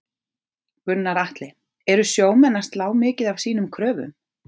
Gunnar Atli: Eru sjómenn að slá mikið af sínum kröfum?